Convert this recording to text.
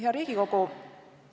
Hea Riigikogu!